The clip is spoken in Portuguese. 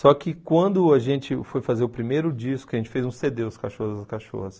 Só que quando a gente foi fazer o primeiro disco, a gente fez um cê dê, Os Cachorros das Cachorras.